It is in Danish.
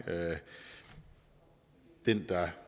den